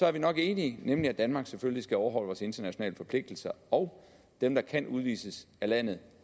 er vi nok enige nemlig at danmark selvfølgelig skal overholde vores internationale forpligtelser og at dem der kan udvises af landet